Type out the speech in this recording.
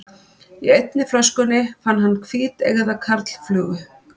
Í einni flöskunni fann hann hvíteygða karlflugu.